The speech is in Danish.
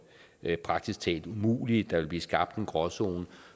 praktisk talt umulige der ville blive skabt en gråzone